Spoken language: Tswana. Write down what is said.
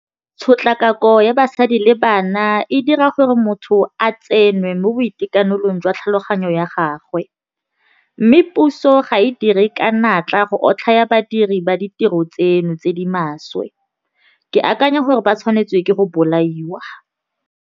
Tshotlakako ya basadi le bana e dira gore motho a tsenwe mo boitekanelong jwa tlhaloganyo ya gagwe mme puso ga e dire ka natla go otlhaya badiri ba ditiro tseno tse di maswe ke akanya gore ba tshwanetswe ke go bolaiwa.